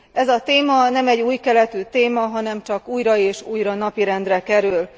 Ez a téma nem egy új keletű téma, hanem csak újra és újra napirendre kerül.